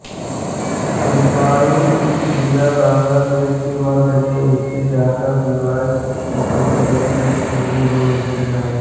मिटामइन उपजिला बांग्लादेश के मध्य में स्थित ढाका विभाग के किशोरगंज जिले में स्थित है